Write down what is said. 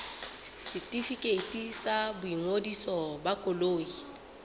setefikeiti sa boingodiso ba koloi